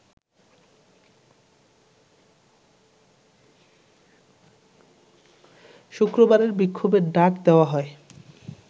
শুক্রবারের বিক্ষোভের ডাক দেওয়া হয়